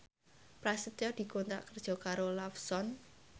Prasetyo dikontrak kerja karo Lawson